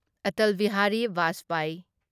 Atal Bihari Vajpayee